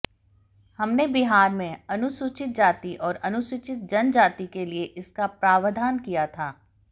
हमने बिहार में अनुसूचित जाति और अनुसूचित जनजाति के लिए इसका प्रावधान किया था